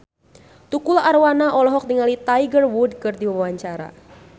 Tukul Arwana olohok ningali Tiger Wood keur diwawancara